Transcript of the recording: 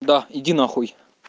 да иди нахуй